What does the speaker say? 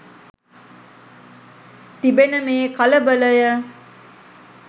තිබෙන මේ කලබලය